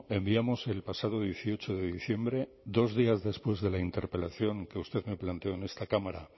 enviamos el pasado dieciocho de diciembre dos días después de la interpelación que usted me planteó en esta cámara a